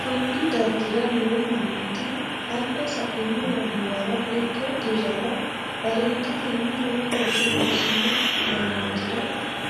konni dargira noo mannoti alba saino yannuwara ikko dirrara bareendetenni lowo looso loosino mannootira